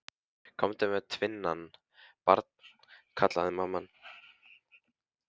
Komdu með tvinnann, barn, kallaði mamma.